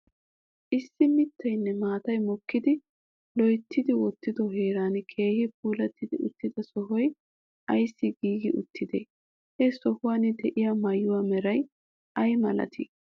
Issi mittaynne maatay mookkidi loytti wottido heeran keehi puulatti uttida sohoy ayssi giigi uttidee? He sohuwaan de'iyaa maayuwaa meray ayi milatii?